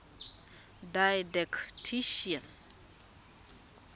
didactician